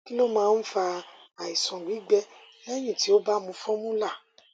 kí ló máa ń fa àìsàn gbígbẹ lẹyìn tí o bá mu formula